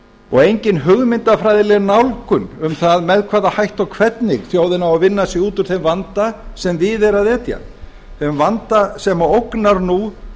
og engin hugmyndafræðileg nálgun um það með hvaða hætti og hvernig þjóðin á að vinna sig út úr þeim vanda sem við er að etja þeim vanda sem ógnar nú